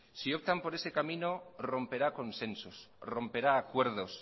si optan por ese camino romperá consensos romperá acuerdos